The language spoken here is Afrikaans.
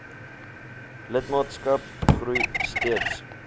lidmaatskap groei steeds